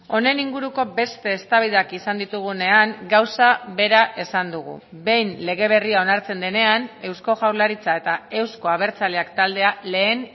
honen inguruko beste eztabaidak izan ditugunean gauza bera esan dugu behin lege berria onartzen denean eusko jaurlaritza eta euzko abertzaleak taldea lehen